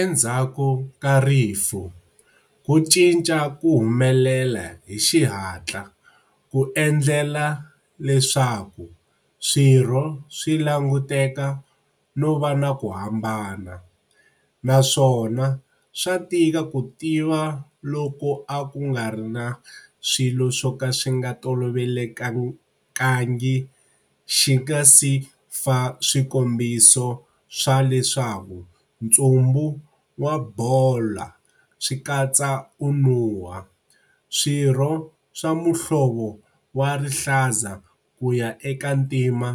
Endzhaku ka rifu ku cinca ku humelela hi xihatla ku endlela leswaku swirho swi languteka no va na ku hambana, naswona swa tika ku tiva loko a ku nga ri na swilo swo ka swi nga tolovelekangi xi nga si fa swikombiso swa leswaku ntsumbu wa bola swi katsa u nuha, swirho swa muhlovo wa rihlaza ku ya eka ntima